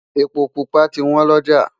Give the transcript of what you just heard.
èpo púpà tí wọn loja